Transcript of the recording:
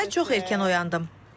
Səhər çox erkən oyandım.